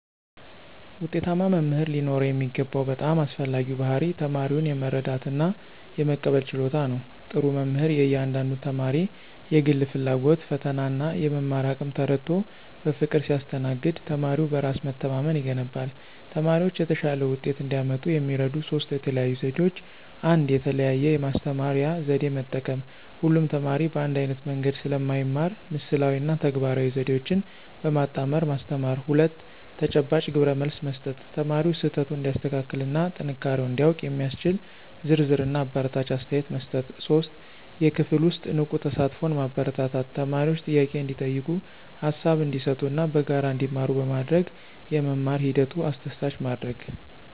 ውጤታማ መምህር ሊኖረው የሚገባው በጣም አስፈላጊው ባሕርይ ተማሪውን የመረዳትና የመቀበል ችሎታ ነው። ጥሩ መምህር የእያንዳንዱን ተማሪ የግል ፍላጎት፣ ፈተናና የመማር አቅም ተረድቶ በፍቅር ሲያስተናግድ ተማሪው በራስ መተማመን ይገነባል። ተማሪዎች የተሻለ ውጤት እንዲያመጡ የሚረዱ ሦስት የተለዩ ዘዴዎች፦ 1. የተለያየ የማስተማሪያ ዘዴ መጠቀም: ሁሉም ተማሪ በአንድ ዓይነት መንገድ ስለማይማር ምስላዊ እና ተግባራዊ ዘዴዎችን በማጣመር ማስተማር። 2. ተጨባጭ ግብረመልስ መስጠት: ተማሪው ስህተቱን እንዲያስተካክልና ጥንካሬውን እንዲያውቅ የሚያስችል ዝርዝርና አበረታች አስተያየት መስጠት። 3. የክፍል ውስጥ ንቁ ተሳትፎን ማበረታታት: ተማሪዎች ጥያቄ እንዲጠይቁ፣ ሃሳብ እንዲሰጡና በጋራ እንዲማሩ በማድረግ የመማር ሂደቱን አስደሳች ማድረግ።